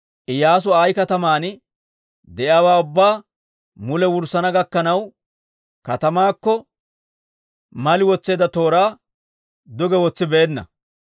Iyyaasu Ayi kataman de'iyaawaa ubbaa mule wurssana gakkanaw, katamaakko mali wotseedda tooraa duge wotsibeenna.